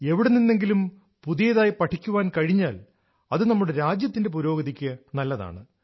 എവിടെനിന്നെങ്കിലും പുതിയതായി പഠിക്കാൻ കഴിഞ്ഞാൽ അത് നമ്മുടെ രാജ്യത്തിന്റെ പുരോഗതിക്ക് നല്ലതാണ്